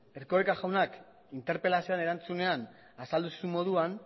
erkoreka jaunak interpelazioaren erantzunean azaldu zuen moduan